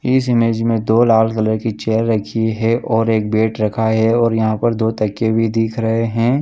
इस इमेज में दो लाल कलर की चेयर रखी है और एक बेड रखा है और यहाँ पे दो तकिये भी दिख रखे है।